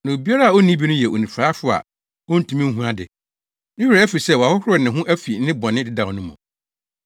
Na obiara a onni bi no yɛ onifuraefo a ontumi nhu ade. Ne werɛ afi sɛ wɔahohoro ne ho afi ne bɔne dedaw no mu.